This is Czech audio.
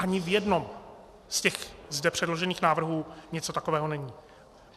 Ani v jednom z těch zde předložených návrhů něco takového není.